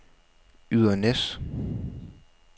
Ydernæs